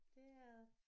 Det er det